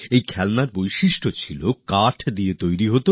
সেগুলির বৈশিষ্ট্য হচ্ছে সেগুলি কাঠের তৈরী